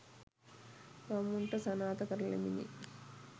ගම්මුන්ට සනාථ කරලමිනි